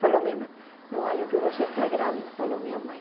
Falou minha irmã, não, acho que você está grávida, falou minha mãe.